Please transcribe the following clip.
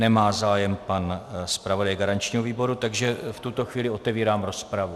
Nemá zájem pan zpravodaj garančního výboru, takže v tuto chvíli otevírám rozpravu.